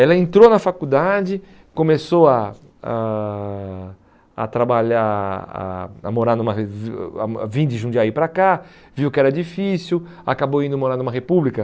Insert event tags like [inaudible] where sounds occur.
Ela entrou na faculdade, começou a a a trabalhar, a a morar numa... [unintelligible] a Vim de Jundiaí para cá, viu que era difícil, acabou indo morar numa república.